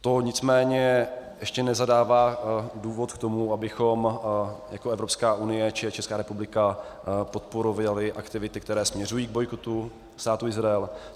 To nicméně ještě nezadává důvod k tomu, abychom jako Evropská unie či Česká republika podporovali aktivity, které směřují k bojkotu Státu Izrael.